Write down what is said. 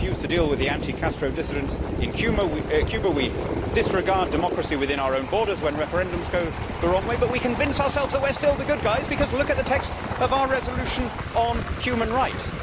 We refuse to deal with the anti Castro dissidents in Cuba, we disregard democracy within our own borders when referendums go the wrong way, but we convince ourselves that we are still the good guys because look at the text of our resolution on human rights!